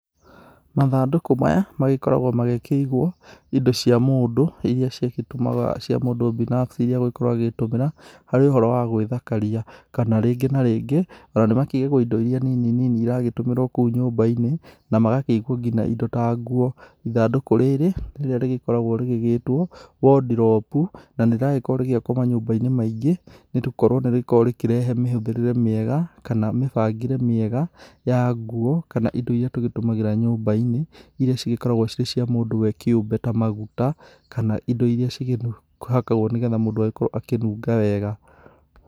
Mathandũkũ maya magĩkoragwo magĩkĩigwo indo cia mũndũ iria cigĩtũmaga cia mũndũ binafsi iria egũgĩkorwo agĩtũmĩra harĩ ũhoro wa gwĩthakaria. Kana rĩngĩ na rĩngĩ ona nĩ makĩigagwo indo iria nini nini iragĩtũmĩrwo kũu nyumba-inĩ, na magakĩigwo nginya indo ta nguo. Ithandũkũ rĩrĩ rĩrĩa rĩgĩkoragwo rĩrĩgĩtwo wardrobe na nĩ ragĩkorwo rĩgĩakwo manyumba-inĩ maingĩ. Nĩ gũkorwo nĩ rĩkoragwo rĩkĩrehe mĩhuthĩrĩre mĩega kana mĩbangĩre mĩega ya nguo kana indo iria tũgĩtũmagĩra nyumba-inĩ, iria cigĩkoragwo cirĩ cia mũndũ we kĩũmbe ta maguta kana indo iria cikĩhakagwo nĩ getha mũndũ agĩkorwo akĩnunga wega.